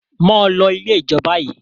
mọ ló ilẹ̀ ijọ bayí!